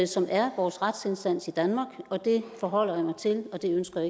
som er vores retsinstans i danmark og det forholder jeg mig til og det ønsker